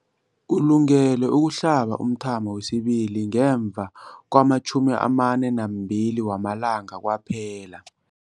Ulungele ukuhlaba umthamo wesibili ngemva kwama-42 wamalanga kwaphela.